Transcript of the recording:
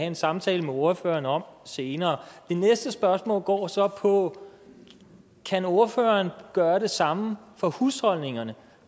en samtale med ordføreren om senere det næste spørgsmål går så på kan ordføreren gøre det samme for husholdningerne